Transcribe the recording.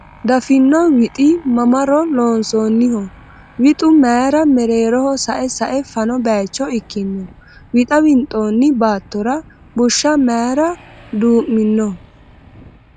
Daffino wixi mamaro loonsoonniho ? Wixu mayra mereeroho sa'e sa'e fano bayicho ikkino ? Wixa winxoonni baattora bushsha mayra duu'mino ?